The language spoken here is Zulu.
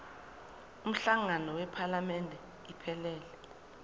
umhlangano wephalamende iphelele